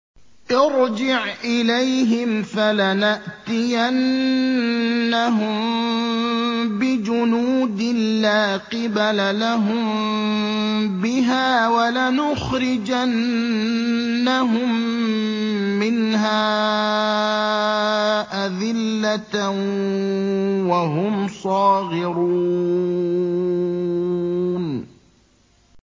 ارْجِعْ إِلَيْهِمْ فَلَنَأْتِيَنَّهُم بِجُنُودٍ لَّا قِبَلَ لَهُم بِهَا وَلَنُخْرِجَنَّهُم مِّنْهَا أَذِلَّةً وَهُمْ صَاغِرُونَ